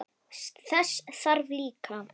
Dundi landa!